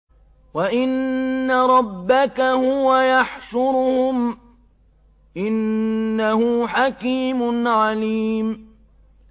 وَإِنَّ رَبَّكَ هُوَ يَحْشُرُهُمْ ۚ إِنَّهُ حَكِيمٌ عَلِيمٌ